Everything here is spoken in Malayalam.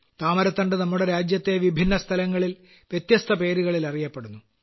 താമരത്തണ്ട് നമ്മുടെ രാജ്യത്തെ വിഭിന്നസ്ഥലങ്ങളിൽ വ്യത്യസ്തപേരുകളിൽ അറിയപ്പെടുന്നു